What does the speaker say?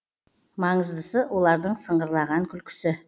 маңыздысы олардың сыңғырлаған күлкісі